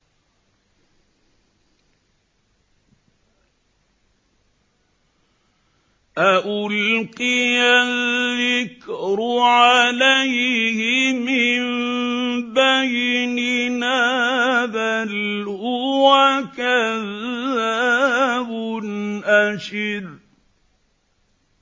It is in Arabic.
أَأُلْقِيَ الذِّكْرُ عَلَيْهِ مِن بَيْنِنَا بَلْ هُوَ كَذَّابٌ أَشِرٌ